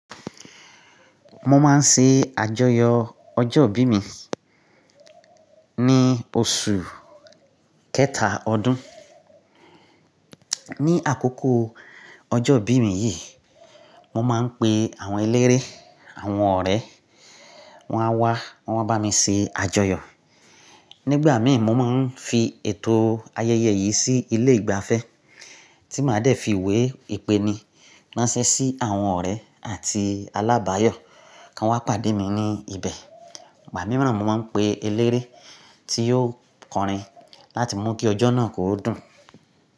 Mo máa ń ṣe àjọyọ̀ ọjọ́ ìbí mi ní oṣù kẹta ọdún. Ni àkókò ọjọ́ ìbí mi yìí, mo máa ń pe àwọn eléré, àwọn ọ̀rẹ́, wọ́n á wá, wọ́n máa bá mi ṣe àjọyọ̀. Nígbà mìíràn, mo máa ń fi ètò ayẹyẹ yìí sí ilé ìgbafẹ́ tí màá dẹ̀ fi ìwé ìpéni ránṣẹ́ sí àwọn ọ̀rẹ́ àti alábàáyọ̀ kí wọ́n pàdé mi ní ibẹ̀. Ìgbà mìíràn, mo máa ń pe eléré tí yóò kọrin láti mú kí ọjọ́ náà kó dùn.